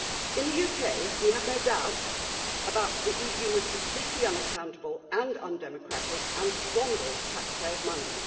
In the UK, we have no doubt that the EU is completely unaccountable and undemocratic and squanders taxpayers' money.